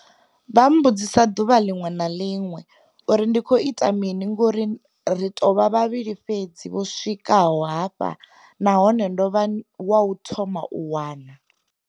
Vha mmbudzisa ḓuvha na ḽiṅwe na ḽiṅwe uri ndi khou ita mini ngauri ri tou vha vhavhili fhedzi vho swika ho hafha nahone ndo vha wa u thoma u wana.